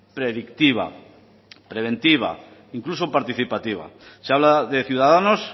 predictiva preventiva incluso participativa se habla de ciudadanos